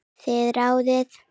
Þið ráðið.